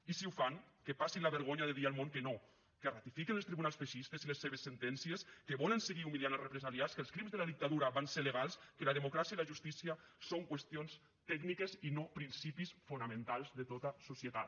i si ho fan que passin la vergonya de dir al món que no que ratifiquen els tribunals feixistes i les seves sentències que volen seguir humiliant els represaliats que els crims de la dictadura van ser legals que la democràcia i la justícia són qüestions tècniques i no principis fonamentals de tota societat